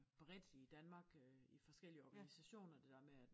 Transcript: Bredt i Danmark øh i forskellige organisationer det der med at